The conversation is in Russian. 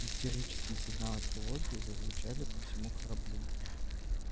истерические сигналы тревоги зазвучали по всему кораблю